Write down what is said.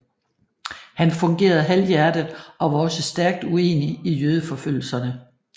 Han fungerede halvhjertet og var også stærkt uenig i jødeforfølgelserne